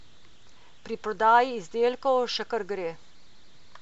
Pri prodaji izdelkov še kar gre.